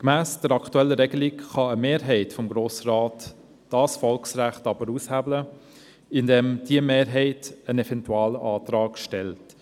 Gemäss der aktuellen Regelung kann aber eine Mehrheit des Grossen Rats dieses Volksrecht aushebeln, indem diese einen Eventualantrag stellt.